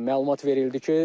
Məlumat verildi ki,